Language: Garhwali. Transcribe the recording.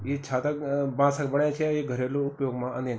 इ छाता बांसक बणाया छि अ यि घरेलू उपयोग मा अंदीन ।